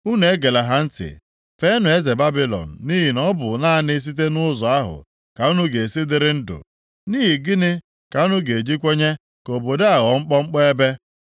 Unu egela ha ntị. Feenụ eze Babilọn, nʼihi na ọ bụ naanị site nʼụzọ ahụ ka unu ga-esi dịrị ndụ. Nʼihi gịnị ka unu ga-eji kwenye ka obodo a ghọọ mkpọmkpọ ebe?